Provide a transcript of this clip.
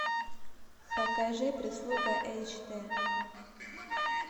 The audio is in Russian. покажи прислуга эйч д